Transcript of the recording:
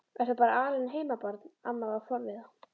Ertu bara alein heima barn? amma var forviða.